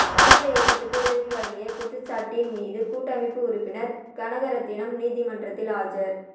புலிகள் இயக்கத்துக்கு உதவி வழங்கிய குற்றச்சாட்டின் மீது கூட்டமைப்பு உறுப்பினர் கனகரட்னம் நீதிமன்றத்தில் ஆஜர்